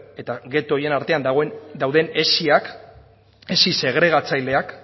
eta geto horien artean dagoen dauden hesiak hesi segregaitzaleak